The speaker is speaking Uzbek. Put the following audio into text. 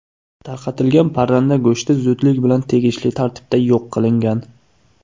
Tarqatilgan parranda go‘shti zudlik bilan tegishli tartibda yo‘q qilingan.